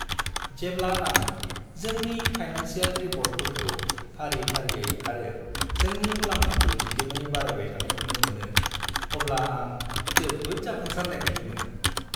जेब्ला आं जोंनि फाइनानसियेल रिपर्टफोरखौ फारि-फारियै आरो जोंनि मुलाम्फाखौ दिदोमै बारायबाय थानाय नुनो मोनो, अब्ला आं जोबोद जाफुंसारनाय बायदि मोनो।